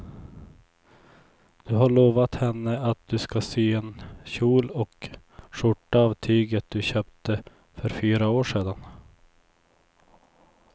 Du har lovat henne att du ska sy en kjol och skjorta av tyget du köpte för fyra år sedan.